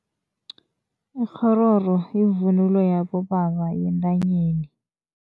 Ikghororo yivunulo yabobaba yentanyeni.